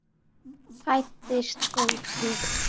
Fæddist fótur.